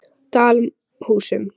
Dalhúsum